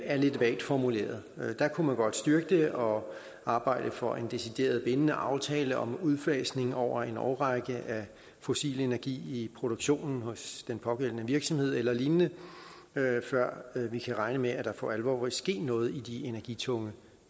er lidt vagt formuleret man kunne godt styrke det og arbejde for en decideret bindende aftale om udfasning over en årrække af fossil energi i produktionen hos den pågældende virksomhed eller lignende før vi kan regne med at der for alvor vil ske noget i de energitunge